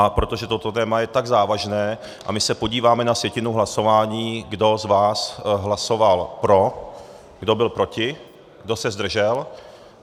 A protože toto téma je tak závažné - a my se podíváme na sjetinu hlasování, kdo z vás hlasoval pro, kdo byl proti, kdo se zdržel.